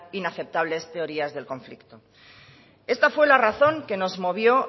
inaceptables teorías del conflicto esta fue la razón que nos movió